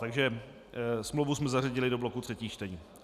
Takže smlouvu jsme zařadili do bloku třetích čtení.